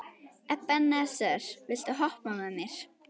Ebeneser, viltu hoppa með mér?